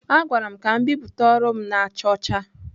A gwara m ka m bipụta ọrụ m na-acha ọcha.